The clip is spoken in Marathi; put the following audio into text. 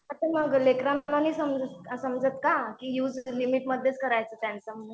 हा पण अगं लेकरांना नाही समजत का की युज लिमिटमधेच करायचा म्हणून.